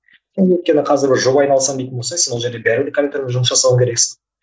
өйткені қазір алсам дейтін болса сен ол жерде бәрібір компьютермен жұмыс жасау керексің